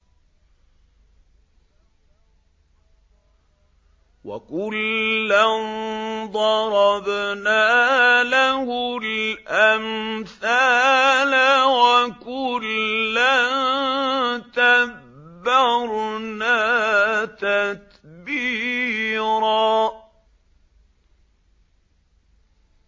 وَكُلًّا ضَرَبْنَا لَهُ الْأَمْثَالَ ۖ وَكُلًّا تَبَّرْنَا تَتْبِيرًا